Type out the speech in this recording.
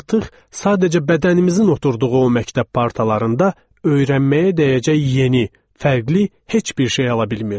Artıq sadəcə bədənimizin oturduğu o məktəb partalarında öyrənməyə dəyəcək yeni, fərqli heç bir şey ala bilmirdik.